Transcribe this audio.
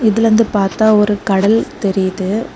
இதுலந்து பார்த்தா ஒரு கடல் தெரியுது.